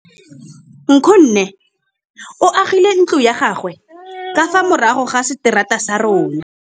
Nkgonne o agile ntlo ya gagwe ka fa morago ga seterata sa rona.